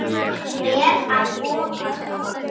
Ber að ofan.